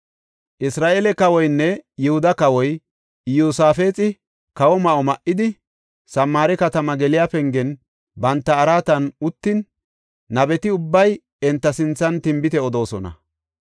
Isra7eele kawoynne Yihuda kawoy Iyosaafexi kawo ma7o ma7idi, Samaare katamaa geliya pengen banta araatan uttin nabeti ubbay enta sinthan tinbite odoosona.